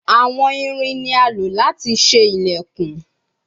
Awọn irin ni a lo lati ṣe ilẹkun